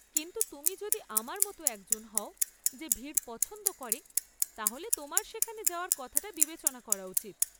কিন্তু, তুমি যদি আমার মতো একজন হও যে ভিড় পছন্দ করে, তাহলে তোমার সেখানে যাওয়ার কথাটা বিবেচনা করা উচিত।